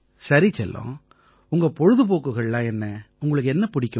சரி செல்லம் உங்க பொழுதுபோக்குகள்லாம் என்ன உங்களுக்கு என்ன பிடிக்கும்